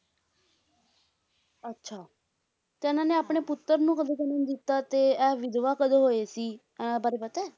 ਅੱਛਾ ਤੇ ਇਹਨਾਂ ਨੇ ਆਪਣੇ ਪੁੱਤਰ ਨੂੰ ਕਦੋ ਜਨਮ ਦਿੱਤਾ ਤੇ ਇਹ ਵਿਧਵਾ ਕਦੋਂ ਹੋਏ ਸੀ, ਇਹ ਬਾਰੇ ਪਤਾ ਹੈ?